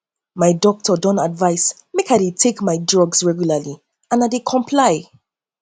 my doctor don advice me make i dey take my drugs regularly and i dey comply